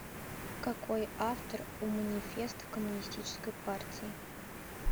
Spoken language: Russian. какой автор у манифест коммунистической партии